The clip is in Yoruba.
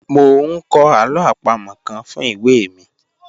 Mo n kọ alo apamo kan fun iwe mi